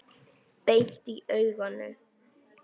Beint í augun.